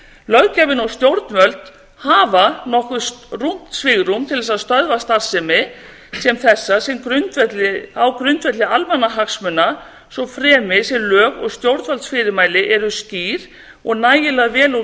löggjafinn og stjórnvöld hafa nokkuð rúmt svigrúm til þess að stöðva starfsemi sem þessa á grundvelli almannahagsmuna svo fremi sem lög og stjórnvaldsfyrirmæli eru skýr og nægilega vel úr